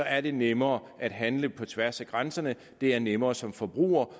er det nemmere at handle på tværs af grænserne det er nemmere som forbruger